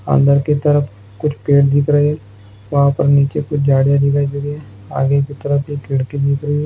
अंदर की तरफ कुछ पेड़ दिख रहे वहाँ पर नीचे कुछ झाड़िया दिखाई दे रही है आगे की तरफ एक खिड़की दिख रही है।